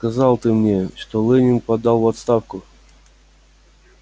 сказал ты мне что лэннинг подал в отставку